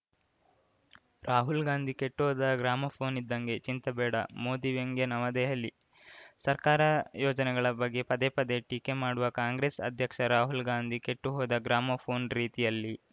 ರಾಹುಲ್‌ ಗಾಂಧಿ ಕೆಟ್ಹೋದ ಗ್ರಾಮೋಫೋನ್‌ ಇದ್ದಂಗೆ ಚಿಂತೆ ಬೇಡ ಮೋದಿ ವ್ಯಂಗ್ಯ ನವದೆಹಲಿ ಸರ್ಕಾರ ಯೋಜನೆಗಳ ಬಗ್ಗೆ ಪದೇ ಪದೇ ಟೀಕೆ ಮಾಡುವ ಕಾಂಗ್ರೆಸ್‌ ಅಧ್ಯಕ್ಷ ರಾಹುಲ್‌ ಗಾಂಧಿ ಕೆಟ್ಟುಹೋದ ಗ್ರಾಮೋಫೋನ್‌ ರೀತಿಯಲ್ಲಿ